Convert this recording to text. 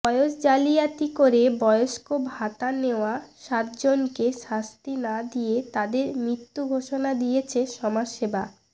বয়স জালিয়াতি করে বয়স্ক ভাতা নেওয়া সাতজনকে শাস্তি না দিয়ে তাঁদের মৃত ঘোষণা দিয়েছে সমাজসেবা